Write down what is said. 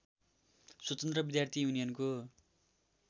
स्वतन्त्र विद्यार्थी युनियनको